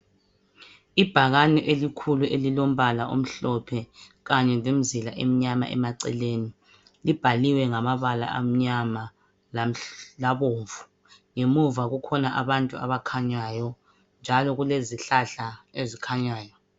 Ibhakane elikhulu elilombala omhlophe kanye lemizila emnyama emaceleni. Libhaliwe ngamabala amnyama labomvu. Ngemuva kukhona abantu abakhanyayo njalo kulezihlahla ezikhanyayo.